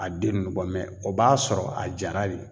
A den nunnu bɔ o b'a sɔrɔ a jara de.